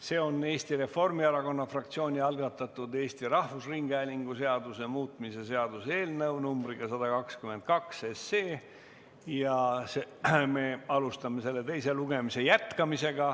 Selleks on Eesti Reformierakonna fraktsiooni algatatud Eesti Rahvusringhäälingu seaduse muutmise seaduse eelnõu numbriga 122 ja me jätkame selle teist lugemist.